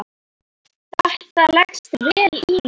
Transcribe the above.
Þetta leggst vel í mig.